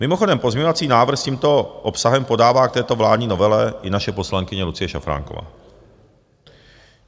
Mimochodem pozměňovací návrh s tímto obsahem podává k této vládní novele i naše poslankyně Lucie Šafránková.